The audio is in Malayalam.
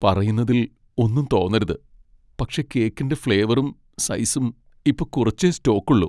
പറയുന്നതിൽ ഒന്നും തോന്നരുത്, പക്ഷേ കേക്കിന്റെ ഫ്ലേവറും സൈസും ഇപ്പൊ കുറച്ചേ സ്റ്റോക്കുള്ളൂ.